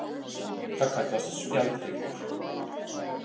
Það kallast spjaldhryggur.